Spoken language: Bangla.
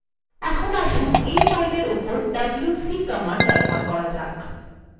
এখন আসুন এই file এর উপর wc command ব্যবহার করা যাক